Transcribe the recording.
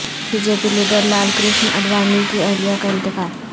be J P leader Lal Krishna Advani کی اہلیہ کا انتقال